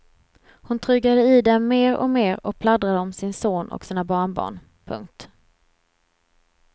Hon trugade i dem mer och mer och pladdrade om sin son och sina barnbarn. punkt